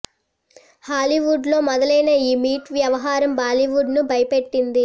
Hollywood లో మొదలైన ఈ మీటు వ్యవహారం బాలీవుడ్ ను భయపెట్టింది